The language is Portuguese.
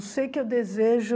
Eu sei que eu desejo...